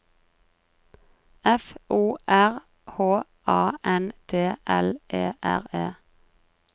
F O R H A N D L E R E